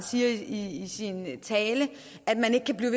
siger i sin tale